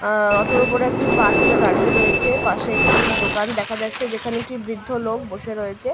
আ অটোর উপরে একটি পা তুলে দাঁড়িয়ে রয়েছে। পশে একটি - ই দোকান দেখা যাচ্ছে যেখানে একটি বৃদ্ধ লোক বসে রয়েছে --